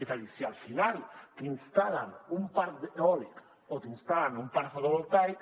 és a dir si al final t’instal·len un parc eòlic o t’instal·len un parc fotovoltaic